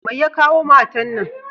Mai ya kawo matan na?